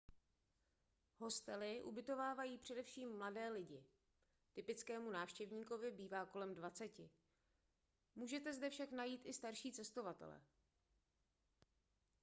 hostely ubytovávají především mladé lidi typickému návštěvníkovi bývá kolem dvaceti můžete zde však najít i starší cestovatele